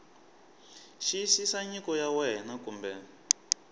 xiyisisa nyiko ya wena kumbe